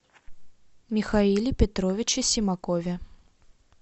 михаиле петровиче симакове